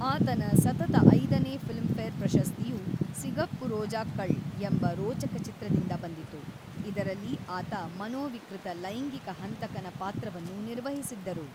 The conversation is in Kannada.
ಆತನ ಸತತ ಐದನೇ ಫಿಲ್ಮ್‌ಫೇರ್ ಪ್ರಶಸ್ತಿಯು ಸಿಗಪ್ಪು ರೋಜಾಕ್ಕಳ್ ಎಂಬ ರೋಚಕ ಚಿತ್ರದಿಂದ ಬಂದಿತು, ಇದರಲ್ಲಿ ಆತ ಮನೋವಿಕೃತ ಲೈಂಗಿಕ ಹಂತಕನ ಪಾತ್ರವನ್ನು ನಿರ್ವಹಿಸಿದ್ದರು.